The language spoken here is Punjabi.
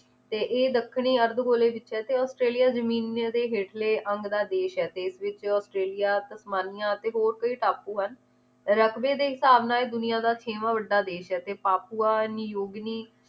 ਤੇ ਇਹ ਦੱਖਣੀ ਅਰਧਗੋਲੇ ਵਿਚ ਹੈ ਤੇ ਔਸਟ੍ਰੇਲਿਆ ਜਮੀਨਾਂ ਦੇ ਹੇਠਲੇ ਅੱਮ ਦਾ ਦੇਸ਼ ਹੈ ਤੇ ਇਸ ਵਿਚ ਔਸਟ੍ਰੇਲਿਆ, ਤਸਮਾਨੀਆ, ਤੇ ਹੋਰ ਕਈ ਟਾਪੂ ਹਨ ਰਕਵੇ ਦੇ ਹਿਸਾਬ ਨਾਲ ਇਹ ਦੁਨੀਆਂ ਦਾ ਛੇਵਾਂ ਵੱਡਾ ਦੇਸ਼ ਹੈ ਤੇ ਪਾਪੁਆਨੀ ਯੋਗਿਨੀ